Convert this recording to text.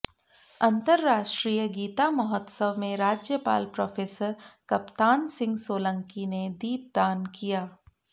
अंतर्राष्ट्रीय गीता महोत्सव में राज्यपाल प्रोफेसर कप्तान सिंह सोलंकी ने दीपदान किया